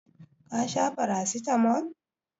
Ka sha paracetamol?